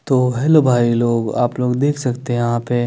तो हेल्लो भाई लोग आप लोग देख सकते है यहा पे --